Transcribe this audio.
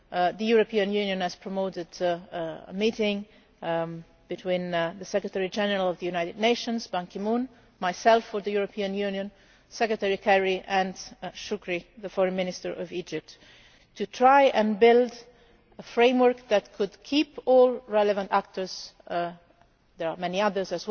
The European Union has promoted a meeting between the Secretary General of the United Nations Ban Ki moon, myself for the European Union, Secretary Kerry and Mr Shoukry, the Foreign Minister of Egypt, to try to build a framework that could keep all relevant actors there are many others